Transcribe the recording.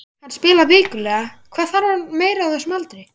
Hann spilar vikulega, hvað þarf hann meira á þessum aldri?